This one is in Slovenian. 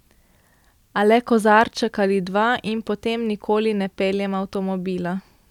A le kozarček ali dva, in potem nikoli ne peljem avtomobila.